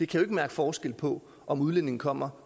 kan mærke forskel på om udlændinge kommer